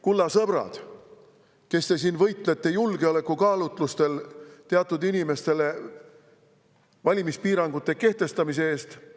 Kulla sõbrad, kes te siin julgeolekukaalutlustel võitlete teatud inimestele valimispiirangute kehtestamise eest!